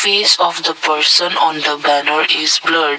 is of the person on the banner is blurred.